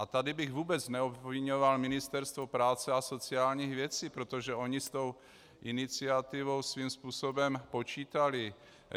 A tady bych vůbec neobviňoval Ministerstvo práce a sociálních věcí, protože oni s tou iniciativou svým způsobem počítali.